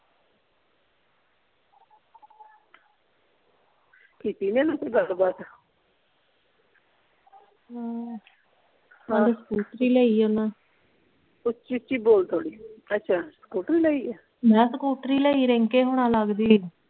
ਕੀਤੀ ਨਹੀਂ ਓਹਨਾਂ ਕੋਈ ਗੱਲਬਾਤ ਹਾਂ ਕੱਲ ਸਕੂਟਰੀ ਲਈ ਆ ਓਹਨਾਂ ਉੱਚੀ ਉੱਚੀ ਬੋਲ ਥੋੜੀ ਅੱਛਾ ਸਕੂਟਰੀ ਲਈ ਆ ਮੈਂ ਕਿਹਾ ਸਕੂਟਰੀ ਲਈ ਆ ਰਿੰਕੇ ਹੁਣਾ ਲੱਗਦੀ